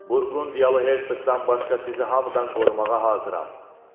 Burqundiyalı Hersekdan başqa sizi hamıdan qorumağa hazıram.